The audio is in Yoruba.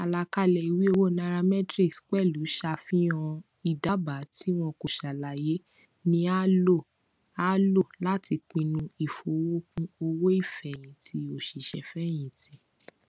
àlàkalẹ ìwé owó nairametrics pẹlú ṣàfihàn ìdábàá tí wọn kò ṣàlàyé ni a lò a lò láti pinnu ìfowókún owóìfẹyìntì òṣìṣẹfẹyìntì